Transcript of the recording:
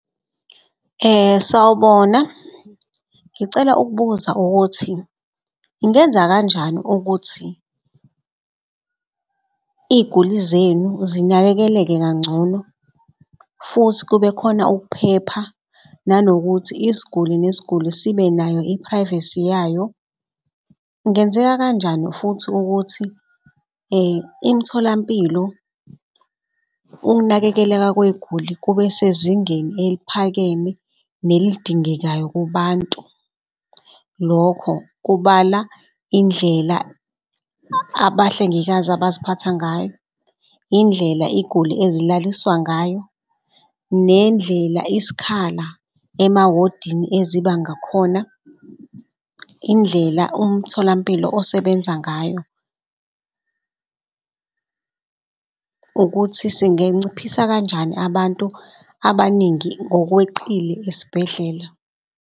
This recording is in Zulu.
Sawubona, ngicela ukubuza ukuthi ungenza kanjani ukuthi iy'guli zenu zinakekeleke kangcono futhi kube khona ukuphepha nanokuthi isguli nesguli sibenayo, i-privacy yayo? Kungenzeka kanjani futhi ukuthi imtholampilo, ukunakekeleka kwey'guli kube sezingeni eliphakeme, nelidingekayo kubantu? Lokho kubala indlela abahlengikazi abaziphatha ngayo, indlela iy'guli ezilaliswa ngayo nendlela iskhala emawodini eziba ngakhona. Indlela umtholampilo osebenza ngayo ukuthi singenciphisa kanjani abantu abaningi ngokweqile esibhedlela.